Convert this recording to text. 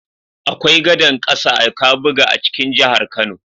Akwai gadar ƙasa a Kabuga a cikin jihar Kano.